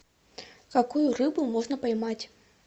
какую рыбу можно поймать